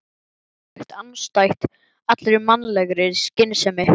Það væri fáránlegt, andstætt allri mannlegri skynsemi.